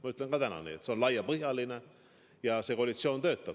Ma ütlen ka täna nii, et see on laiapõhjaline koalitsioon, ja see koalitsioon töötab.